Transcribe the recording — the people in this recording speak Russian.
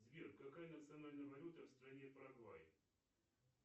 сбер какая национальная валюта в стране парагвай